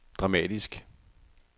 dramatisk